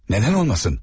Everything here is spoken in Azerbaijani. Nədən olmasın?